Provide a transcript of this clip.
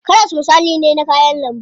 Karas misali ne na kayan lambu.